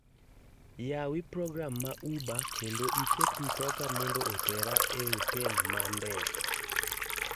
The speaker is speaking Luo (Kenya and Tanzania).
Yawi program ma uber kendo iket mtoka mondo otera e otel ma ndege